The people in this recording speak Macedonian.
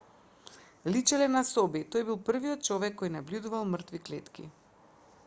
личеле на соби тој бил првиот човек кој набљудувал мртви клетки